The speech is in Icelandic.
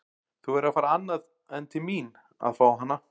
Þú verður að fara annað en til mín að fá hana.